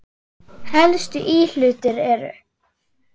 Helstu íhlutir eru